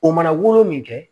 O mana wolo min kɛ